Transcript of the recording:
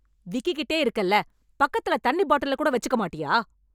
விக்கிக்கிட்டே இருக்கேல்ல... பக்கத்துல தண்ணி பாட்டிலக்கூட வெச்சுக்க மாட்டியா...